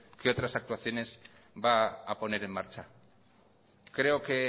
qué otras actuaciones va a poner en marcha creo que